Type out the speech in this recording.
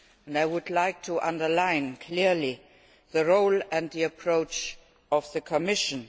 I would like to underline clearly the role and the approach of the Commission.